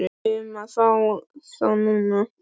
Ég kæri mig ekki um að fá þá núna.